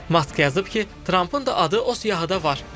Mask yazıb ki, Trampın da adı o siyahıda var.